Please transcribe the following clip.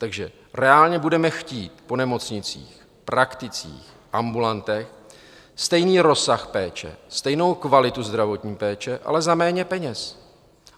Takže reálně budeme chtít po nemocnicích, prakticích, ambulantech stejný rozsah péče, stejnou kvalitu zdravotní péče, ale za méně peněz.